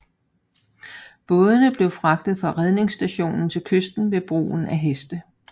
Bådene blev fragtet fra redningsstationen til kysten ved bruge af heste